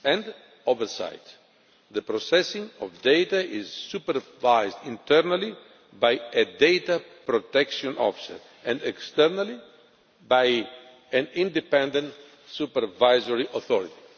and oversight the processing of data is supervised internally by a data protection officer and, externally, by an independent supervisory authority.